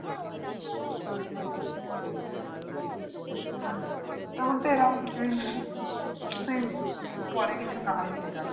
তেমন তো এরকম কিছুই নেই কিন্তু পরে কিছু নাহয় সেটাই